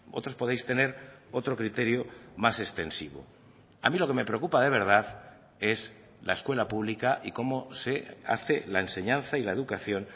otros podéis tener otro criterio más extensivo a mí lo que me preocupa de verdad es la escuela pública y cómo se hace la enseñanza y la educación